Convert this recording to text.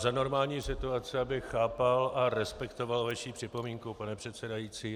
Za normální situace bych chápal a respektoval vaši připomínku, pane předsedající.